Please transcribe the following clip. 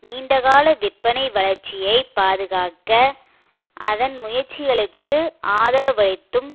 நீண்டகால விற்பனை வளர்ச்சியைப் பாதுகாக்க அதன் முயற்சிகளுக்கு ஆதரவளித்தும்